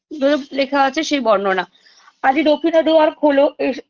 দোদোপ লেখা আছে সেই বর্ণনা আজি দক্ষিণ দূয়ার খোলো এস